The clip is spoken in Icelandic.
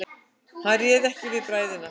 Hann réð ekki við bræðina.